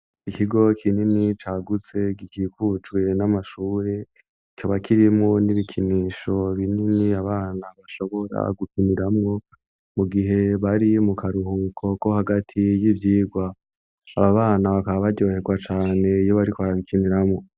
Ikigo kinini cagutse, gikikujwe n'amashuri, coba kirimwo n'ibikinisho binini abana bashobora gukiniramwo mu gihe bari mu karuhuko ko hagati y'ivyigwa, abo bana bakaba baryohegwa cane iyo bariko barabikiniramwo.